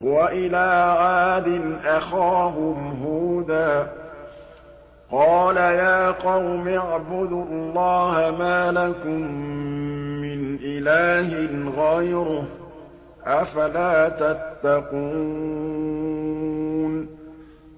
۞ وَإِلَىٰ عَادٍ أَخَاهُمْ هُودًا ۗ قَالَ يَا قَوْمِ اعْبُدُوا اللَّهَ مَا لَكُم مِّنْ إِلَٰهٍ غَيْرُهُ ۚ أَفَلَا تَتَّقُونَ